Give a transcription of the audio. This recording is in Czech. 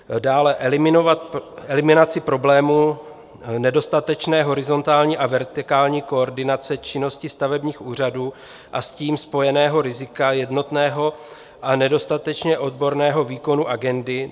Dále eliminaci problémů nedostatečné horizontální a vertikální koordinace činnosti stavebních úřadů a s tím spojeného rizika jednotného a nedostatečně odborného výkonu agendy.